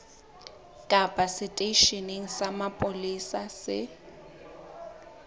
kapa seteisheneng sa mapolesa se